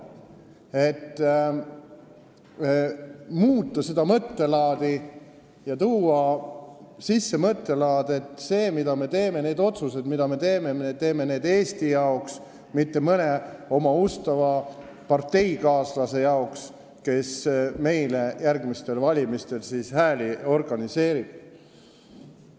Meie eesmärk oli muuta seda mõttelaadi ja tuua sisse mõttelaad, et seda, mida me teeme, neid otsuseid, mida me teeme, me teeme Eesti jaoks, mitte mõne oma ustava parteikaaslase jaoks, kes meile järgmistel valimistel hääli organiseerib.